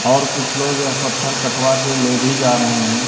और कुछ लोग यह पत्थर कटवा के ले भी जा रहे हैं।